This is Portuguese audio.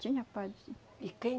Tinha padre, sim. E quem